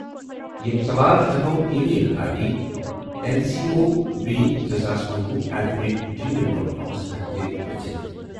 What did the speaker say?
یِم سوال ہٮ۪کَو email I D N C O V زٕ ساس کنۄُہ at the rate Gmail dot کأمس پیٹھ تہِ پرژھِتھ۔